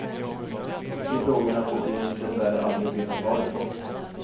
De frågorna får vi dess värre aldrig veta svaret på.